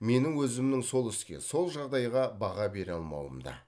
менің өзімнің сол іске сол жағдайға баға бере алмауымда